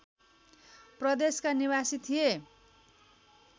प्रदेशका निवासी थिए